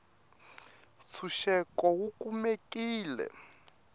tshuxeko wu kumekile